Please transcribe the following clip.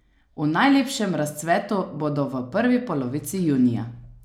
V najlepšem razcvetu bodo v prvi polovici junija.